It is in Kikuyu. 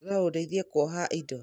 no ũndeithie kũoha indo